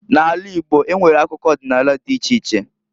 N'ala Igbo enwere akụkọ ọdịnala dị iche iche.